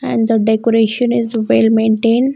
And the decoration is well maintain.